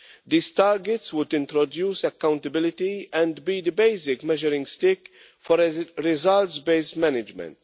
These targets would introduce accountability and be the basic measuring stick for results-based management.